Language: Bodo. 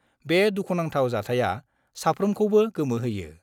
बे दुखुनांथाव जाथाया साफ्रोमखौबो गोमोहोयो।